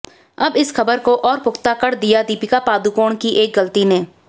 अब इस खबर को और पुख्ता कर दिया दीपिका पादुकोण की एक गलती ने